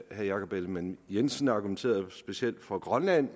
herre jakob ellemann jensen argumenterede specielt for grønland